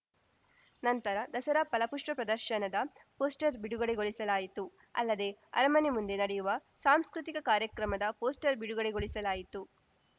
ನಂತರ ದಸರಾ ಫಲಪುಷ್ಪ ಪ್ರದರ್ಶನದ ಪೋಸ್ಟರ್‌ ಬಿಡುಗಡೆಗೊಳಿಸಲಾಯಿತು ಅಲ್ಲದೆ ಅರಮನೆ ಮುಂದೆ ನಡೆಯುವ ಸಾಂಸ್ಕೃತಿಕ ಕಾರ್ಯಕ್ರಮದ ಪೋಸ್ಟರ್‌ ಬಿಡುಗಡೆಗೊಳಿಸಲಾಯಿತು